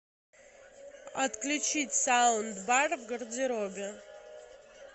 отключить саундбар в гардеробе